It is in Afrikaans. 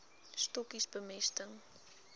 stokkies bemesting